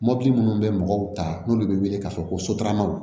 Mɔpiti minnu bɛ mɔgɔw ta n'olu bɛ wele k'a fɔ ko sotaramaw